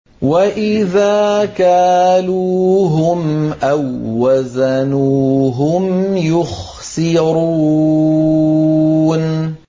وَإِذَا كَالُوهُمْ أَو وَّزَنُوهُمْ يُخْسِرُونَ